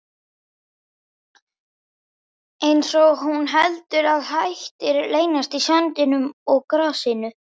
Einsog hún haldi að hættur leynist í sandinum og grasinu.